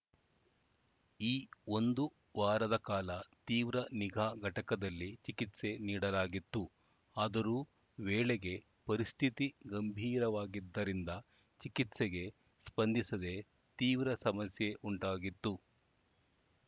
ಈ ಒಂದು ವಾರದ ಕಾಲ ತೀವ್ರ ನಿಗಾ ಘಟಕದಲ್ಲಿ ಚಿಕಿತ್ಸೆ ನೀಡಲಾಗಿತ್ತು ಆದರೂ ವೇಳೆಗೆ ಪರಿಸ್ಥಿತಿ ಗಂಭೀರವಾಗಿದ್ದರಿಂದ ಚಿಕಿತ್ಸೆಗೆ ಸ್ಪಂದಿಸದೆ ತೀವ್ರ ಸಮಸ್ಯೆ ಉಂಟಾಗಿತ್ತು